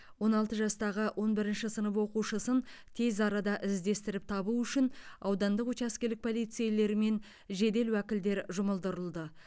он алты жастағы он бірінші сынып оқушысын тез арада іздестіріп табу үшін аудандық учаскелік полицейлер мен жедел уәкілдер жұмылдырылды